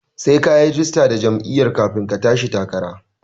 Sai kayi rajista da jam'iyya kafin ka tashi takara